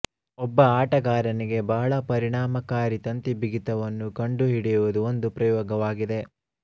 ಒಬ್ಬ ಆಟಗಾರನಿಗೆ ಬಹಳ ಪರಿಣಾಮಕಾರಿ ತಂತಿ ಬಿಗಿತವನ್ನು ಕಂಡು ಹಿಡಿಯುವುದು ಒಂದು ಪ್ರಯೋಗವಾಗಿದೆ